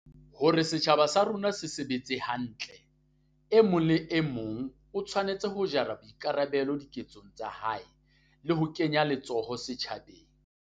Hore setjhaba sa rona se sebetse hantle, e mong le e mong o tshwanetse ho jara boikarabelo diketsong tsa hae, le ho kenya letsoho setjhabeng.